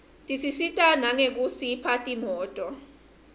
tisisita nangekusipha timoto